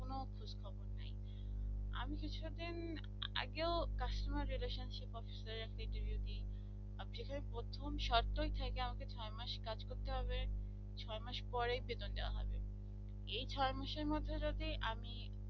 কিছুদিন আগেও customer relationship of store একটা interview দি তারপর এখানে প্রথম শর্ত থাকে আমাকে ছয় মাস কাজ করতে হবে। ছয় মাস পরে বেতন দেওয়া হবে এই ছয় মাসের মধ্যে যদি আমি